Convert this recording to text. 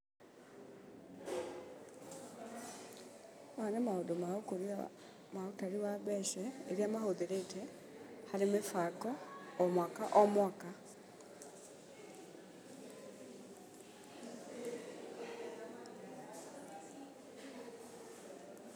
Maya nĩ maũndũ ma ũkũria, ma ũtari wa mbeca iria mahũthĩrĩte harĩ mĩbango, o mwaka o mwaka.